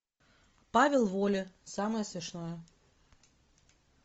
павел воля самое смешное